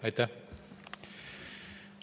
Aitäh!